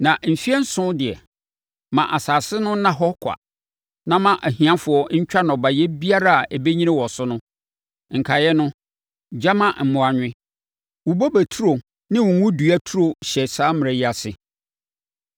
Na mfeɛ nson so deɛ, ma asase no nna hɔ kwa na ma ahiafoɔ ntwa nnɔbaeɛ biara a ɛbɛnyini wɔ so no; nkaeɛ no, gya ma mmoa nwe. Wo bobe turo ne wo ngo dua turo hyɛ saa mmara yi ase.